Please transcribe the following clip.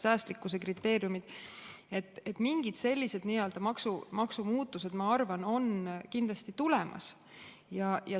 Nii et mingid sellised maksumuutused, ma arvan, on kindlasti tulemas.